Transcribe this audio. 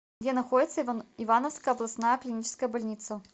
где находится ивановская областная клиническая больница